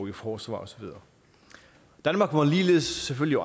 i forsvar og så videre danmark må ligeledes selvfølgelig